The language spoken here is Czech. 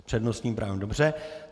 S přednostním právem, dobře.